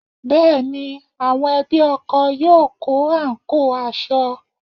Bẹ́ẹ̀ ni, àwọn ẹbí ọkọ yóò kó àǹkóò aṣọ